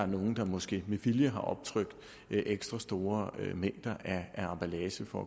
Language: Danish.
nogen måske med vilje har optrykt ekstra store mængder af emballage for